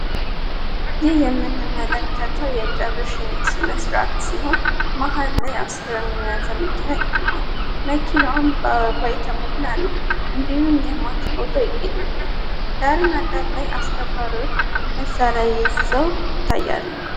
ይህ የምንመለከተው የቀብርሽኝት ስነ ሥርዓት ሲሆን ማህል ላይ አስከሬኑን የያዘምኪና ይገኛል። መኪናውን ባባይተ ሙላ ነው። እንዲኑም የማች ፎቶ ይገኝበታል። ዳርን ዳር ላይ አስከባሪዎች መሣሪ ይዘው ይታያሉ።